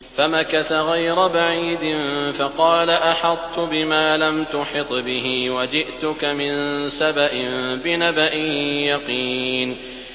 فَمَكَثَ غَيْرَ بَعِيدٍ فَقَالَ أَحَطتُ بِمَا لَمْ تُحِطْ بِهِ وَجِئْتُكَ مِن سَبَإٍ بِنَبَإٍ يَقِينٍ